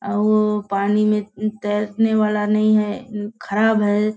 अ औ पानी में त तैरने वाला नहीं है खराब है।